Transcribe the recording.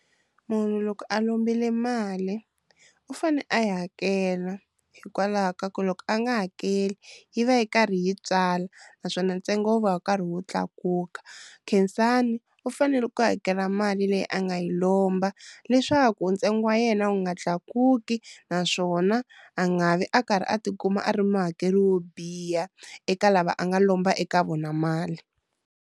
Munhu loko a lombile mali u fane a yi hakela hikwalaho ka ku loko a nga hakeli yi va yi karhi yi tswala naswona ntsengo wu va wu karhi wu tlakuka, Khensani u fanele ku hakela mali leyi a nga yi lomba leswaku ntsengo wa yena wu nga tlakuki naswona a nga vi a karhi a tikuma a ri muhakeri wo biha eka lava a nga lomba eka vona mali.